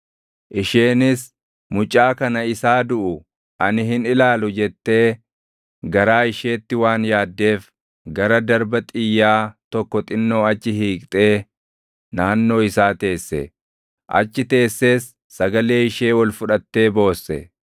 Isheenis, “Mucaa kana isaa duʼu ani hin ilaalu” jettee garaa isheetti waan yaaddeef gara darba xiyyaa tokko xinnoo achi hiiqxee naannoo isaa teesse; achi teessees sagalee ishee ol fudhattee boosse.